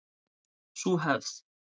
Sú hefð